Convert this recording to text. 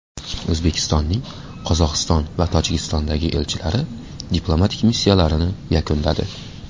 O‘zbekistonning Qozog‘iston va Tojikistondagi elchilari diplomatik missiyalarini yakunladi.